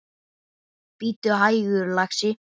Bíddu hægur, lagsi.